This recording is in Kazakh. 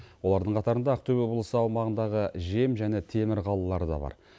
олардың қатарында ақтөбе облысы аумағындағы жем және темір қалалары да бар